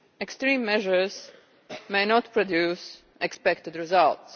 Extreme measures may not produce the expected results.